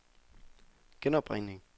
genopringning